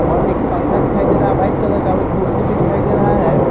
और एक पंखा दिखाई दे रहा है वाइट कलर का भी कुर्सी भी दिखाई दे रहा है।